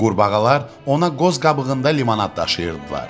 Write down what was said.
Qurbağalar ona qoz qabığında limonad daşıyırdılar.